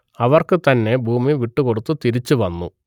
അവർക്കു തന്നെ ഭൂമി വിട്ടുകൊടുത്തു തിരിച്ചു വന്നു